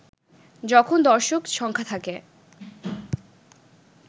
যখন দর্শক সংখ্যা থাকে